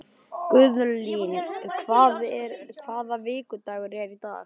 Inda, bókaðu hring í golf á þriðjudaginn.